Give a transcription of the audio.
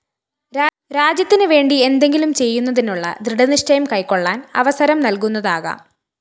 രാജ്യത്തിന് വേണ്ടി എന്തെങ്കിലും ചെയ്യുന്നതിനുളള ദൃഡനിശ്ചയം കൈക്കൊളളാന്‍ അവസരം നല്‍കുന്നതാകാം